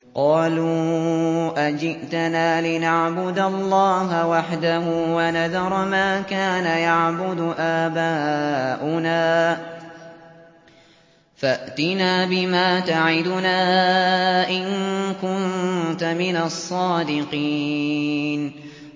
قَالُوا أَجِئْتَنَا لِنَعْبُدَ اللَّهَ وَحْدَهُ وَنَذَرَ مَا كَانَ يَعْبُدُ آبَاؤُنَا ۖ فَأْتِنَا بِمَا تَعِدُنَا إِن كُنتَ مِنَ الصَّادِقِينَ